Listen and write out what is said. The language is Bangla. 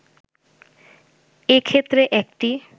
এ ক্ষেত্রে একটি